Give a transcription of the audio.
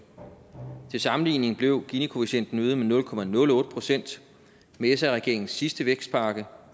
til sammenligning blev ginikoefficienten øget med nul procent med sr regeringens sidste vækstpakke